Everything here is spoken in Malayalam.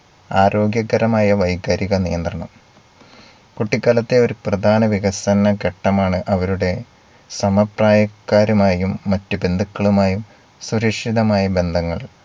ആരോഗ്യകരമായ വൈകാരിക നിയന്ത്രണം കുട്ടികാലത്തെ ഒരു പ്രധാന വികസന ഘട്ടമാണ് അവരുടെ സമപ്രായക്കാരുമായും മറ്റു ബന്ധുക്കളുമായും സുരക്ഷിതമായ ബന്ധങ്ങൾ